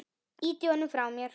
Ýti honum frá mér.